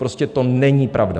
Prostě to není pravda.